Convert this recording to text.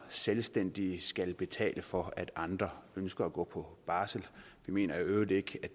selvstændige skal betale for at andre ønsker at gå på barsel jeg mener i øvrigt